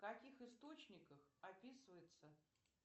в каких источниках описывается